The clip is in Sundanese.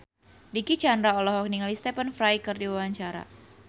Dicky Chandra olohok ningali Stephen Fry keur diwawancara